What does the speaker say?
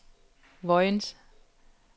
Vojens